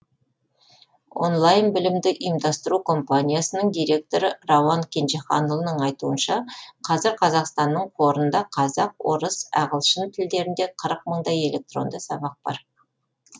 онлайн білімді ұйымдастыру компаниясының директоры рауан кенжеханұлының айтуынша қазір қазақстанның қорында қазақ орыс ағылшын тілдерінде қырық мыңдай электронды сабақ бар